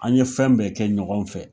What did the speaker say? An ye fɛn bɛɛ kɛ ɲɔgɔn fɛ